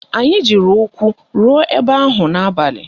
Anyị jiri ụkwụ ruo ebe ahụ n'abalị